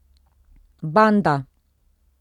Banda!